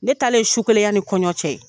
Ne talen su kelen yani kɔɲɔ cɛ